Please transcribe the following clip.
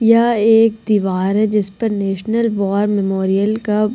यहाँ एक दिवार है जिसपे नेशनल वॉर मेमोरियल का --